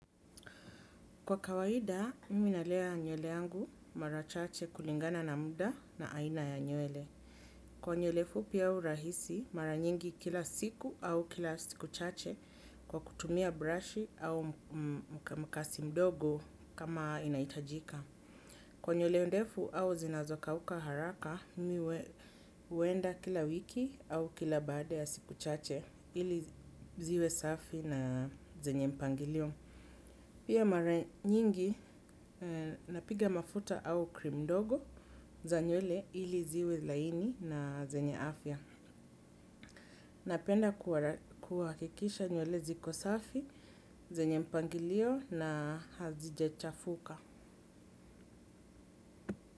Kwa kawaida, mimi nalea nywele yangu mara chache kulingana na muda na aina ya nywele. Kwa nywele fupi au rahisi, mara nyingi kila siku au kila siku chache kwa kutumia brush au mkasi mdogo kama inahitajika. Kwa nywele ndefu au zinazokauka haraka, mimi huenda kila wiki au kila baada ya siku chache ili ziwe safi na zenye mpangilio. Pia mara nyingi napiga mafuta au cream ndogo za nywele ili ziwe laini na zenye afya. Napenda kuhakikisha nywele ziko safi, zenye mpangilio na hazijachafuka.